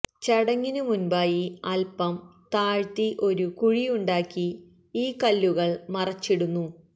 ചടങ്ങിനു മുൻപായി അല്പം താഴ്ത്തി ഒരു കുഴിയുണ്ടാക്കി ഈ കല്ലുകൾ മറിച്ചിടുന്നു